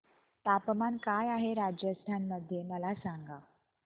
तापमान काय आहे राजस्थान मध्ये मला सांगा